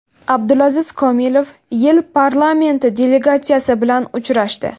Abdulaziz Komilov YeI parlamenti delegatsiyasi bilan uchrashdi.